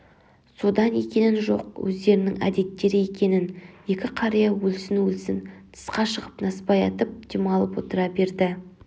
содан екенін жоқ өздерінің әдеттері екенін екі қария өлсін-өлсін тысқа шығып насыбай атып демалып отыра берді